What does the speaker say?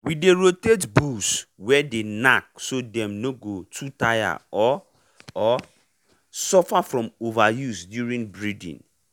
we dey rotate bulls way dey knack so dem no go too tire or or suffer from overuse during breeding